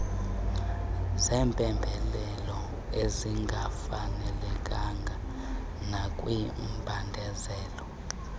zempembelelo ezingafanelekanga nakwimbandezelo